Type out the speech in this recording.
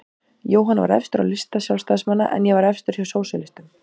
Jóhann var efstur á lista Sjálfstæðismanna en ég var efstur hjá sósíalistum.